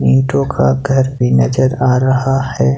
ईंटों का घर भी नजर आ रहा है।